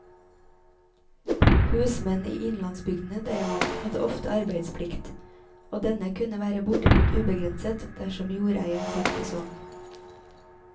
Husmenn i innlandsbygdene derimot hadde ofte arbeidsplikt, og denne kunne være bortimot ubegrenset dersom jordeieren fant det sånn.